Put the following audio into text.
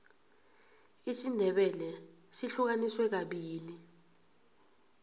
isindebele sihlukaniswe kabili